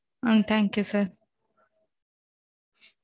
ah thank you sir